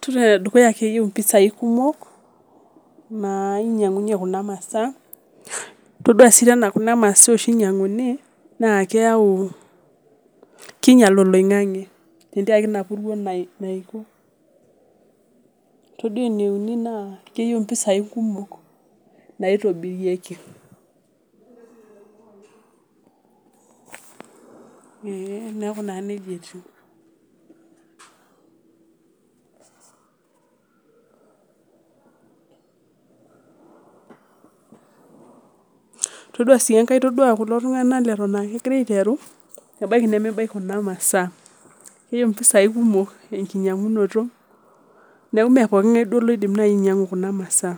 Todua enedukuya keyieu impisai kumok naa nyiangunyie kuna masaa, todua siitoi enaa kuna masaa oshi inyiakunkuni naa keyau kinyial oloinkanke tenteriaki ina puruo. Todua eneuni naa keyieu impisai kumok, naitobirieki, neeku naa nejia etiu, todua sii ore kulo tunganak leton aa kegira aiteru, ebaiki nebaiki kuna masaa keyieu impisai kumok enkinyiangunoto, neeku meepokinkai duo nai oidim ainyianku kuna masaa,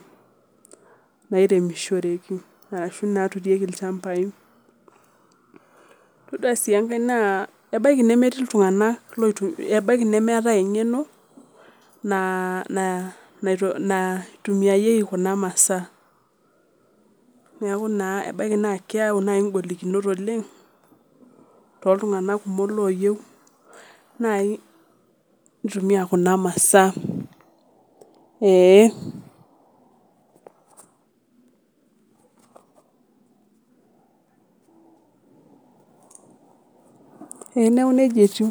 nairemishoreki ashu naa naturieki ilchambai. Todua sii enkae naa ebaiki nemeetai enkeno, naitumiyaki kuna masaa neeku naa ebaiki naa keeu naai inkolokinot oleng',toltunganak kumok nai ooyieu neitumiya kuna masaa ee neeku nejia etiu.